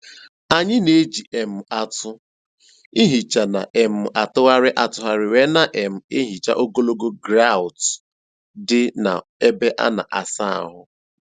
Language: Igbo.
Anyị na-eji um atụ nhicha na um - atụgharị atụgharị wee na um - ehicha ogologo grọut dị na-ebe ana asa ahụ.